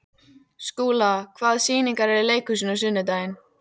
Skúla, hvaða sýningar eru í leikhúsinu á sunnudaginn?